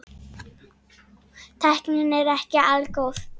Tæknin er ekki algóð.